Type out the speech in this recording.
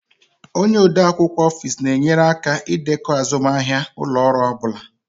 Onye ode akwụkwọ Ofis na-enyere aka ịdekọ azụmahịa ụlọ ọrụ ọ bụla